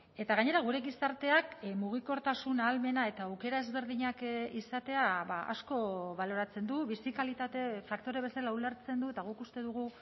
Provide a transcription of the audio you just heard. eta gainera gure gizarteak mugikortasun ahalmena eta aukera ezberdinak izatea asko baloratzen du bizi kalitate faktore bezala ulertzen du eta guk uste dugu